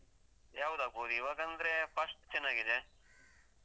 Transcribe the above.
ಯಾವ್ದಾಗ್ಬೋದು? ಈವಾಗಂದ್ರೆ fast ಚೆನ್ನಾಗಿದೆ.